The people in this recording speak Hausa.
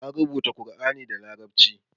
An rubuta Alkur'ani da larabci.